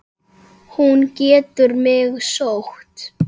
Hún getur mig sótt.